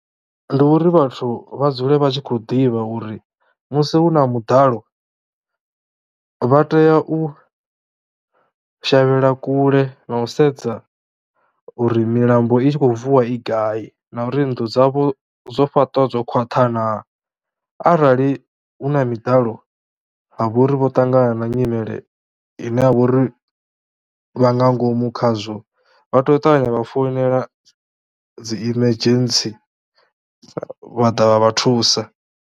Ndi uri vhathu vha dzule vha tshi khou ḓivha uri musi hu na muḓalo vha tea u shavhela kule na u sedza uri milambo i tshi khou vuwa i gai, na uri nnḓu dzavho dzo fhaṱiwa dzo khwaṱha naa arali hu na miḓalo ha vha uri vho ṱangana na nyimele ine ya vha uri vha nga ngomu khazwo, vha tea u ṱavhanya vha founela dzi emergency vha ḓa vha vha thusa.